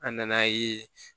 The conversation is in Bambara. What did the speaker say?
An nan'a ye